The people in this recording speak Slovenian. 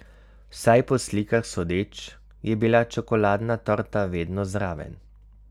Vsaj po slikah sodeč je bila čokoladna torta vedno zraven.